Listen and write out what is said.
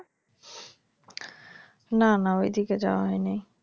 না না ওই দিকে যাওয়া হয়নি।